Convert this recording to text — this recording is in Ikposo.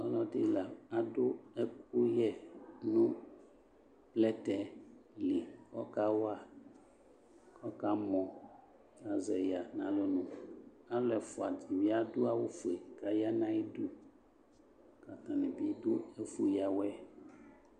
Ɔlɔde la ado ɛkuyɛ no plɛtɛ li kɔka wa kɔka mɔAzɛe ya nalɔnuAlu ɛfua de be ado awufue ka ya na ayidu ka atane be do ɛfu yiawɛɛ